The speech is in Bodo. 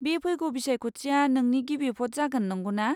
बे फैगौ बिसायख'थिया नोंनि गिबि भ'ट जागोन, नंगौना?